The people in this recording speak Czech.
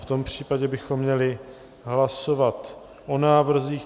V tom případě bychom měli hlasovat o návrzích.